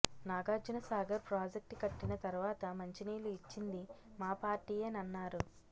Nagarjunasagar project కట్టిన తర్వాత మంచినీళ్లు ఇచ్చింది మా పార్టీయేనన్నారు